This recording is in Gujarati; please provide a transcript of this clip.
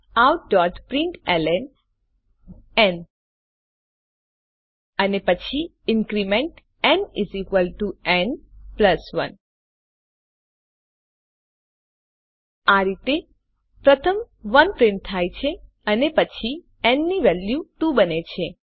Systemoutprintlnઅને પછી ઇન્ક્રીમેન્ટ ન ન 1 આ રીતે પ્રથમ 1 પ્રિન્ટ થાય છે અને પછી ન ની વેલ્યુ 2 બને છે